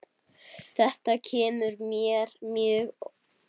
Þetta kemur mér mjög óvart.